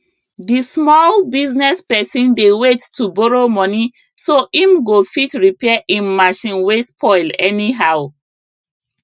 di small business person dey wait to borrow money so im go fit repair im machine wey spoil anyhow